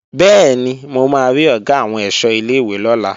Bẹ́ẹ̀ni, mo máa rí Ọ̀gá àwọn ẹ̀ṣọ́ ilé-ìwé lọ́la